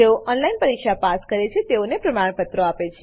જેઓ ઓનલાઈન પરીક્ષા પાસ કરે છે તેઓને પ્રમાણપત્રો આપે છે